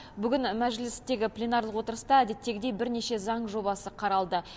бүгін мәжілістегі пленарлық отырыста әдеттегідей бірнеше заң жобасы қаралды